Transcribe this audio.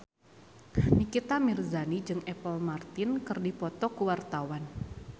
Nikita Mirzani jeung Apple Martin keur dipoto ku wartawan